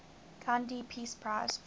gandhi peace prize